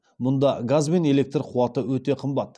мұнда газ бен электр қуаты өте қымбат